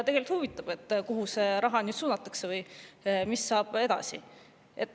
Tegelikult huvitav, kuhu see raha nüüd suunatakse või mis saab edasi.